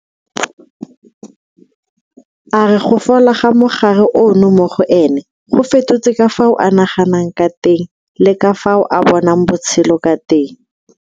A re go fola ga mogare ono mo go ene go fetotse ka fao a naganang ka teng le ka fao a bonang botshelo ka teng.